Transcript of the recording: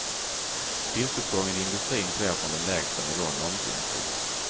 Vinstuppgången i industrin sker från den lägsta nivån någonsin. punkt